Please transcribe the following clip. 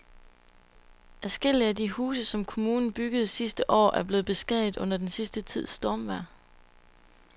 Adskillige af de huse, som kommunen byggede sidste år, er blevet beskadiget under den sidste tids stormvejr.